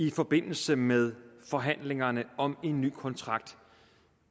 i forbindelse med forhandlingerne om en ny kontrakt